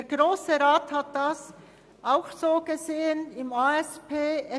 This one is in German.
Der Grosse Rat hat dies auch im Rahmen der ASP so gesehen: